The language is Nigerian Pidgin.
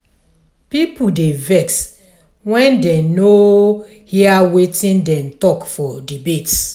people dey vex when dem no hear wetin dem talk for debates.